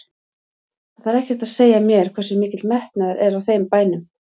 Það þarf ekkert að segja mér hversu mikill metnaður er á þeim bænum.